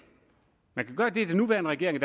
man kan gøre det den nuværende regering og